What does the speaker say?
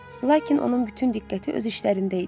Lakin onun bütün diqqəti öz işlərində idi.